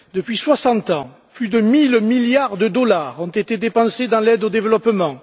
Depuis soixante ans, plus de mille milliards de dollars ont été dépensés dans l'aide au développement.